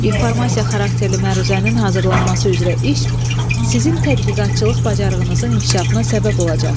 İnformasiya xarakterli məruzənin hazırlanması üzrə iş sizin tədqiqatçılıq bacarığınızın inkişafına səbəb olacaq.